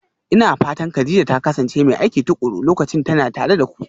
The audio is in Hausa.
Ina fatan Kadija ta kasance mai aiki tuƙuru lokacin tana tare da ku?